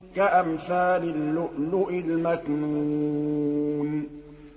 كَأَمْثَالِ اللُّؤْلُؤِ الْمَكْنُونِ